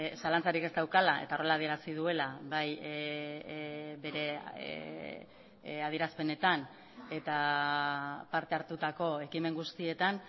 zalantzarik ez daukala eta horrela adierazi duela bai bere adierazpenetan eta parte hartutako ekimen guztietan